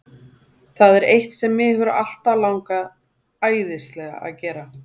Það er eitt sem mig hefur alltaf langað æðislega að gera.